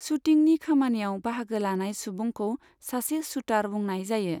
शूटिंनि खामानियाव बाहागो लानाय सुबुंखौ सासे शूटार बुंनाय जायो।